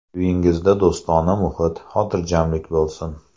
Uyingizda do‘stona muhit, xotirjamlik bo‘lsin!